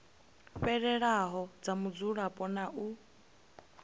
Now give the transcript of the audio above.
fhelelaho dza mudzulapo na u